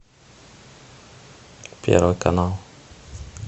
первый канал